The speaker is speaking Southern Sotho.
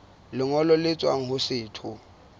lengolo le tswang ho setho